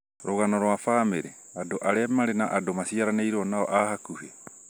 rũgano rwa bamĩrĩ: andũ arĩa marĩ na andũ maciaranĩirwo nao a hakuhĩ